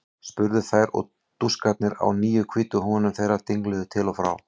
spurðu þær og dúskarnir á nýju hvítu húfunum þeirra dingluðu til og frá.